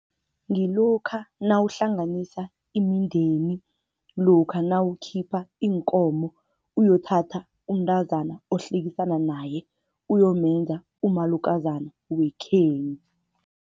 Ngilokha nawuhlanganisa imindeni, lokha nawukhipha iinkomo uyothatha umntazana ohlekisana naye, uyomenza umalukozana wekhenu.